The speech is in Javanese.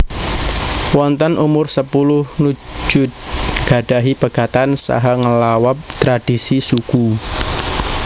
Wonten umursepuluh Nujood nggadahi pegatan saha ngelawabTradisi suku